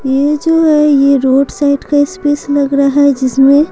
ये जो है ये रोड साइड का स्पेस लग रहा है जिसमें--